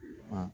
A